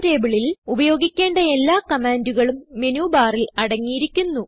GChemTableൽ ഉപയോഗിക്കേണ്ട എല്ലാ കമാൻഡുകളും Menubarൽ അടങ്ങിയിരിക്കുന്നു